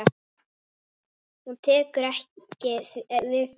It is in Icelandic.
Hún tekur ekki við því.